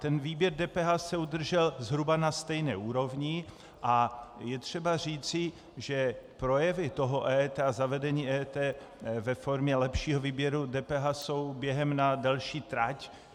Ten výběr DPH se udržel zhruba na stejné úrovni a je třeba říci, že projevy toho EET a zavedení EET ve formě lepšího výběru DPH jsou během na delší trať.